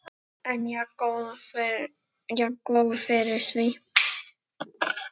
En jafngóð fyrir því!